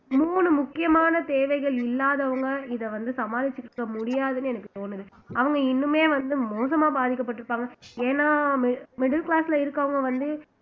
மூணு முக்கியமான தேவைகள் இல்லாதவங்க இத வந்து சமாளிச்சுருக்க முடியாதுன்னு எனக்கு தோணுது அவங்க இன்னுமே வந்து மோசமா பாதிக்கப்பட்டு இருப்பாங்க ஏன்னா mid middle class ல இருக்கிறவங்க வந்து